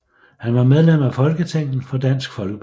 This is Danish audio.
Han var medlem af Folketinget for Dansk Folkeparti